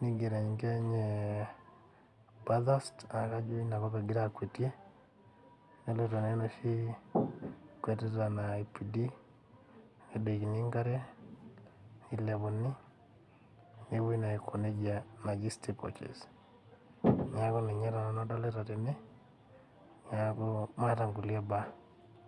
nigero enkila enye pathast naa kajo inakop egira akwetie eloito aya enoshi kwetita naipidi nedoikini enkare nilepuni nepoi naa aiko najei naji stick coaches neeku ninye taa nanu adolita tene neeku maata nkulie baa.